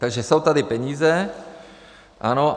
Takže jsou tady peníze, ano.